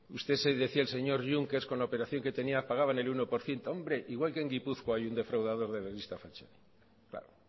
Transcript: decía el señor juncker con la operación que tenia pagaban el uno por ciento igual que en gipuzkoa hay un defraudador de la lista falciani